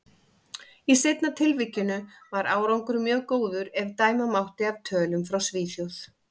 Í seinna tilvikinu var árangur mjög góður, ef dæma mátti af tölum frá Svíþjóð.